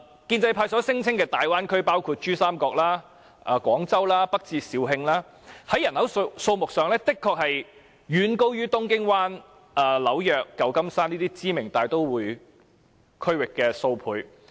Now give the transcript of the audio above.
建制派所聲稱的大灣區包括珠江三角洲和廣州，北至肇慶，在人口上的確遠高於東京灣、紐約和舊金山等知名大都會區域數倍。